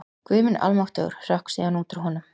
Guð minn almáttugur hrökk síðan út úr honum.